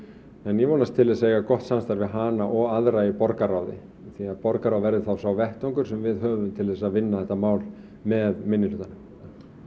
ég vonast til þess að eiga gott samstarf við hana og aðra í borgarráði því að borgarráð verður þá sá vettvangur sem við höfum til þess að vinna þetta mál með minnihlutanum